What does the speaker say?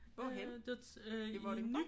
Hvorhenne? I Vordingborg?